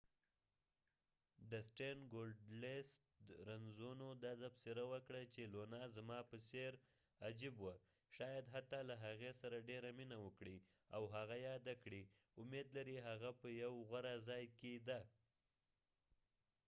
ډسټین ګولډسټ رنزونو دا تبصره وکړه چې لونا زما په څیر عجیب وه شاید حتی له هغې سره ډیره مینه وکړي او هغه یاده کړي امید لري هغه په یو غوره ځای کې ده